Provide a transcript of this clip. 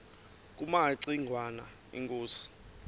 kumaci ngwana inkosi